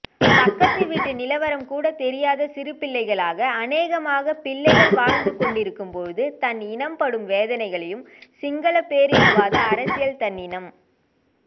பக்கத்துவீட்டு நிலவரம்கூடதெரியாத சிறுபிள்ளைகளாக அனேகமான பிள்ளைகள் வாழ்ந்துகொண்டிருக்கும்போது தன் இனம் படும் வேதனைகளையும் சிங்களப்பேரினவாத அரசினால் தன் இனம்